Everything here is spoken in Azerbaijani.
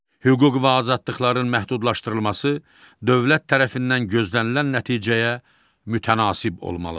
Hüquq və azadlıqların məhdudlaşdırılması dövlət tərəfindən gözlənilən nəticəyə mütənasib olmalıdır.